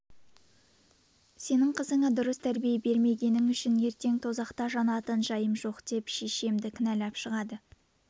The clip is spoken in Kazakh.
сенің қызыңа дұрыс тәрбие бермегенің үшін ертең тозақта жанатын жайым жоқ деп шешемді кіналап шығады